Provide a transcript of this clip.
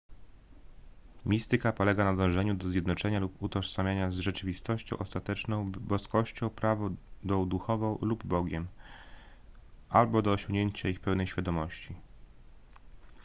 mistyka polega na dążeniu do zjednoczenia lub utożsamienia z rzeczywistością ostateczną boskością prawdą duchową lub bogiem albo do osiągnięcia ich pełnej świadomości